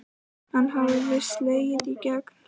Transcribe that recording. Hann hafði slegið í gegn.